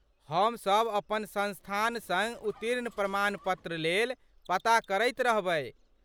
हमसभ अपन संस्थान सङ्ग उत्तीर्ण प्रमाण पत्र लेल पता करैत रहबय।